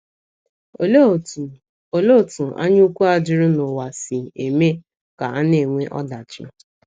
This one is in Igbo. Olee otú Olee otú anyaukwu a juru n’ụwa si eme ka a na - enwe ọdachi?